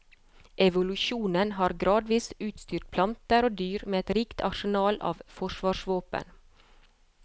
Evolusjonen har gradvis utstyrt planter og dyr med et rikt arsenal av forsvarsvåpen.